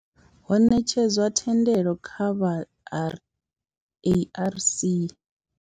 Ho netshedzwa thendelo kha vha R, ARC.